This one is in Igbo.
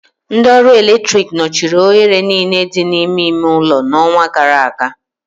Ndị ọrụ eletrik nọchiri oghere niile dị n'ime ime ụlọ n'ọnwa gara aga